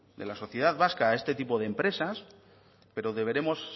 de la sociedad vasca a este tipo de empresas pero deberemos